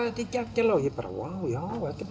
þetta er geggjað lag og ég bara já þetta